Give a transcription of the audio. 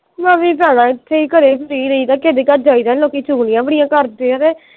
ਮੈਂ ਵੀ ਭਰਾਵਾ ਇਥੇ ਹੀ ਘਰੇ free ਰਹੀਦਾ ਕਿਹੇ ਦੇ ਘਰ ਜਾਈਦਾ ਨਹੀਂ ਲੋਕੀ ਚੁਗਲੀਆਂ ਈ ਬੜੀਆਂ ਕਰਦੇ ਆ ਕੇ।